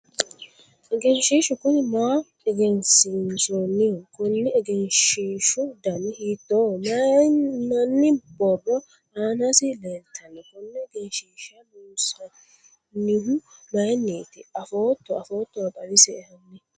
egenshiishshu kuni maa egensiinsoonniho? konni egensiishshu dani hiittooho? mayiinanni borro aanasi leeltanno? konne egenshiishsha loonsannihu mayiinniti afootto afoottoro xawisie hanni?